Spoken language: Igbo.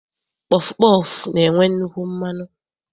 Pọfụ pọọfụ na-enwe nnukwu mmanụ.